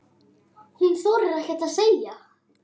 Hún þorir ekkert að segja.